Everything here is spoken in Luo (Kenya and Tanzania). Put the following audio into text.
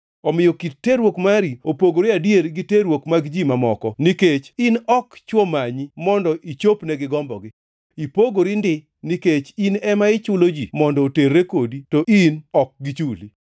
Omiyo kit terruok mari opogore adier gi terruok mag ji mamoko, nikech in ok chwo manyi mondo ichopnegi gombogi. Ipogori ndi, nikech in ema ichulo ji mondo oterre kodi to in ok gichuli.